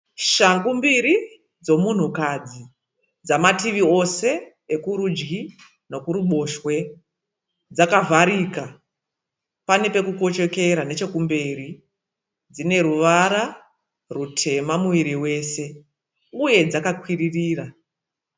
Shangu mbiri dzemunhu kadzi dzamativi ose ekurudji nekuruboshwe. Dzakavarika ,panepekukoshokera nechekumberi dzineruvara rutema muviri wose uye dzakakwiririra.